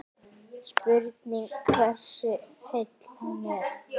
Spurning hversu heill hann er?